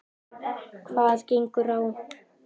Hvað gengur á?